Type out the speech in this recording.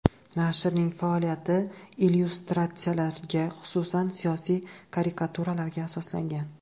Nashrning faoliyati illyustratsiyalarga, xususan, siyosiy karikaturalarga asoslangan.